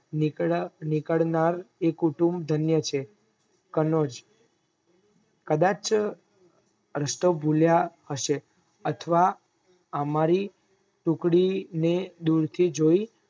નીકળનાર એ કુટુંબ ધન્ય છે કનોજ કદાચ રસ્તો ભૂલ્યા હશે અથવા અમારી ટુકડી ને દૂર થી જોઈ